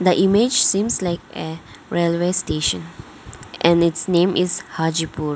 the image seems like a railway station and its name is hajipur.